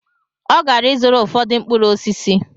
Ọ gara ịzụrụ ụfọdụ mkpụrụ osisi